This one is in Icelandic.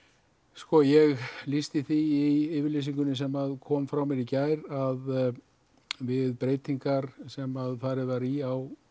sko ég lýsti því í yfirlýsingu sem kom frá mér í gær að við breytingar sem farið var í á